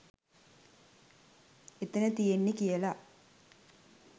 එතන තියෙන්නේ කියල.